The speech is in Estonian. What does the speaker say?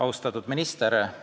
Austatud minister!